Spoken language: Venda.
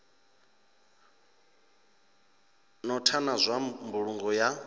notha na zwa mbulungo ya